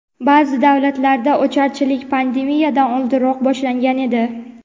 Ba’zi davlatlarda ocharchilik pandemiyadan oldinroq boshlangan edi.